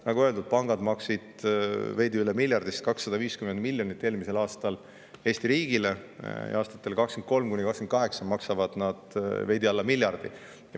Nagu öeldud, pangad maksid eelmisel aastal veidi üle miljardi suuruselt Eesti riigile 250 miljonit, ning aastatel 2023–2028 maksavad nad veidi alla miljardi.